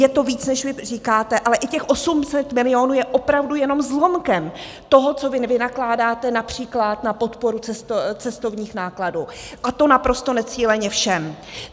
Je to víc, než vy říkáte, ale i těch 800 milionů je opravdu jenom zlomkem toho, co vy vynakládáte například na podporu cestovních nákladů, a to naprosto necíleně všem.